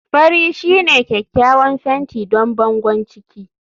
fari shine kyakkyawan fenti don bangon ciki